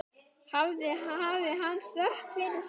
Hafi hann þökk fyrir það.